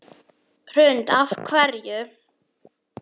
Hrund: Af hverju?